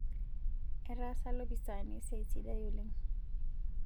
Etaasa lopisaani esiai sidai oleng'